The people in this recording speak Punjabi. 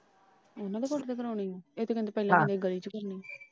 ਉਹਨਾਂ ਦੇ ਕੋਠੇ ਤੇ ਕਰਨੀ ਆ। ਇਹ ਤਾਂ ਕਹਿੰਦੇ ਸੀ ਪਹਿਲਾ ਗਲੀ ਚ ਕਰਨੀ।